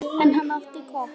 En hann átti gott.